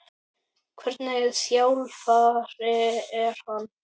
Hvernig þjálfari er hann?